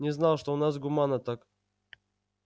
не знал что у нас гуманно так